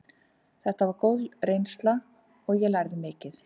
Þetta var góð reynsla og ég lærði mikið.